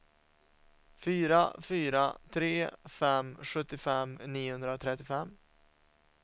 fyra fyra tre fem sjuttiofem niohundratrettiofem